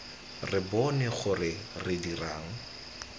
re bone gore re dirang